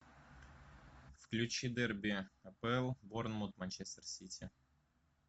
включи дерби апл борнмут манчестер сити